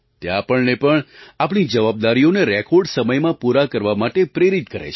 તે આપણને પણ આપણી જવાબદારીઓને રેકૉર્ડ સમયમાં પૂરા કરવા માટે પ્રેરિત કરે છે